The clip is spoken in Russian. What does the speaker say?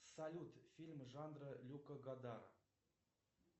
салют фильм жанра люка гадара